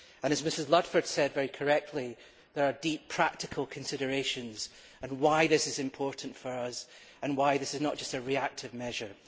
As Mrs Ludford said, very correctly, there are deep practical considerations as to why this is important for us and why this is not just a reactive measure.